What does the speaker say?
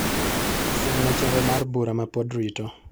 Siemna chenro mar bura mapod rito.